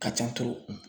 Ka ca